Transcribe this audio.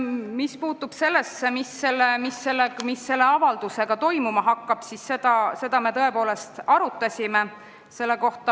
Mis puutub sellesse, mis selle avaldusega toimuma hakkab, siis seda me tõepoolest arutasime.